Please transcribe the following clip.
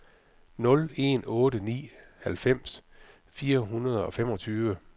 nul en otte ni halvfems fire hundrede og femogtyve